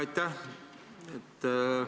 Aitäh!